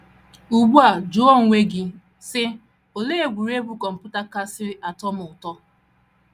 Ugbu a jụọ onwe gị, sị: ‘ Olee egwuregwu kọmputa kasị atọ m ụtọ?